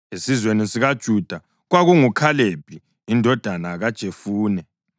esizweni sikaJuda, kwakunguKhalebi indodana kaJefune;